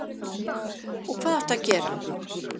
Og hvað áttu að gera?